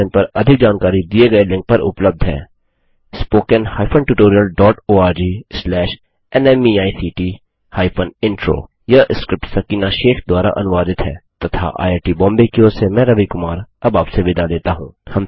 इस मिशन पर अधिक जानकारी दिए गए लिंक पर उपलब्ध है httpspoken tutorialorgNMEICT Intro यह स्क्रिप्ट सकीना शेख द्वारा अनुवादित है तथा आईआई टी बॉम्बे की ओर से मैं रवि कुमार अब आपसे विदा लेता हूँ